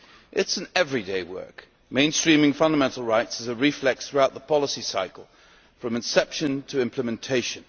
It is everyday work mainstreaming fundamental rights is a reflex throughout the policy cycle, from inception to implementation.